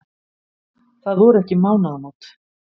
Það voru ekki mánaðamót.